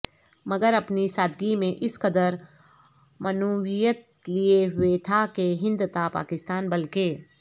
مگر اپنی سادگی میں اس قدر معنویت لیے ہوئے تھا کہ ہند تا پاکستان بلکہ